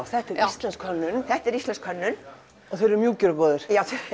þetta er íslensk hönnun þetta er íslensk hönnun og þeir eru mjúkir og góðir